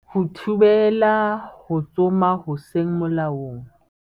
Ho thibela ho tsoma ho seng molaong